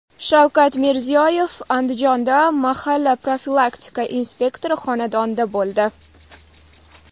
Shavkat Mirziyoyev Andijonda mahalla profilaktika inspektori xonadonida bo‘ldi.